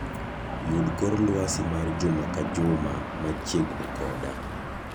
yud kor lwasi mar juma ka juma machiegni koda